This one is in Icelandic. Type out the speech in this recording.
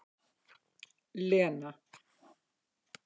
Lena